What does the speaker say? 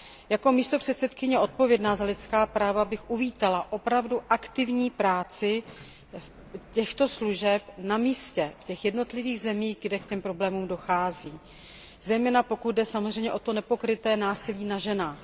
Jako místopředsedkyně odpovědná za lidská práva bych uvítala opravdu aktivní práci této služby na místě v jednotlivých zemí, kde k problémům dochází, zejména pokud jde samozřejmě o nepokryté násilí na ženách.